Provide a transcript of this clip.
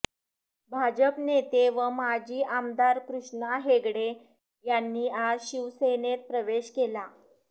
भाजप नेते व माजी आमदार कृष्णा हेगडे यांनी आज शिवसेनेत प्रवेश केला